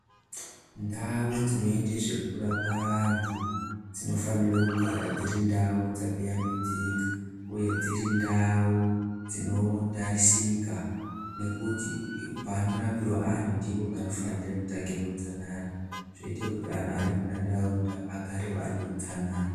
Ndau dzinoite zvekurapa antu dzinofanire kugara dziri ndau dzakashambidzika uye dziri ndau dzinotarisika ngekuti panorapirwa antu ndipo panofanirwa kutangira utsanana zvoite kuti antu ari muntaraunda agarewo ane utsanana.